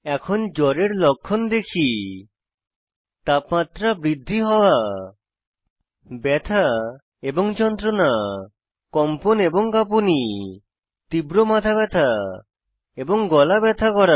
এখন জ্বরের লক্ষণ দেখি তাপমাত্রা বৃদ্ধি হওয়া ব্যথা এবং যন্ত্রনা কম্পন এবং কাঁপুনি তীব্র মাথা ব্যাথা এবং গলা ব্যথা করা